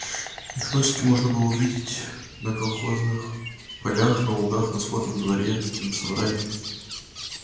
их носики можно было увидеть на колхозных полях на лугах на скотном дворе на собраниях